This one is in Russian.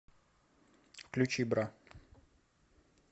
включи бра